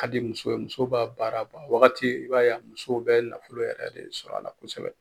Hali muso muso b'a baaraba wagati i b'a ye a musow bɛ nafolo yɛrɛ de sɔrɔ a la kosɛbɛ.